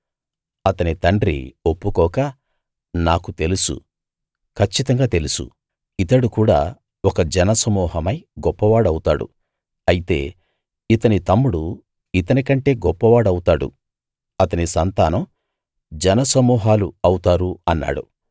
అతని తండ్రి ఒప్పుకోక నాకు తెలుసు కచ్చితంగా తెలుసు ఇతడు కూడా ఒక జన సమూహమై గొప్పవాడవుతాడు అయితే ఇతని తమ్ముడు ఇతని కంటే గొప్పవాడవుతాడు అతని సంతానం జన సమూహాలు అవుతారు అన్నాడు